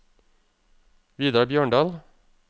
Vidar Bjørndal